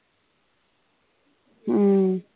ਹਮ